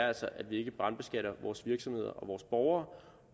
altså er at vi ikke brandbeskatter vores virksomheder og vores borgere